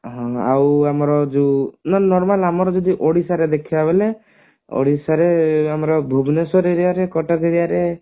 ହଁ ଆଉ ଆମର normal ଆମର ଯଦି ଓଡିଶାରେ ଦେଖିବା ବୋଇଲେ ଓଡିଶାରେ ଆମର ଭୁବନେଶ୍ବର aria ରେ କଟକ aria ରେ